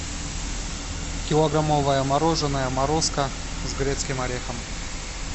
килограммовое мороженое морозко с грецким орехом